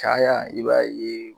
Caya i b'a ye